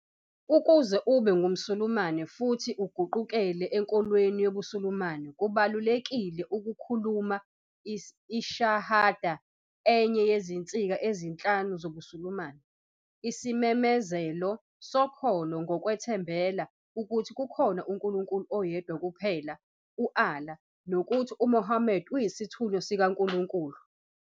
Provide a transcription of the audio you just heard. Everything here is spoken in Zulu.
Ukuze ube ngumSulumane futhi uguqukele enkolweni yobuSulumane, kubalulekile ukukhuluma "iShahada", enye yezinsika ezinhlanu zobuSulumane, isimemezelo sokholo nokwethembela ukuthi kukhona uNkulunkulu oyedwa kuphela "u- Allah " nokuthi uMuhammad uyisithunywa sikaNkulunkulu.